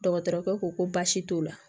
Dɔgɔtɔrɔkɛ ko ko baasi t'o la